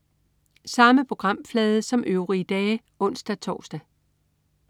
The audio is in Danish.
Samme programflade som øvrige dage (ons-tors)